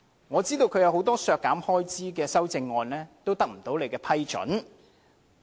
我知道他提出的很多項削減開支的修正案也不獲你批准。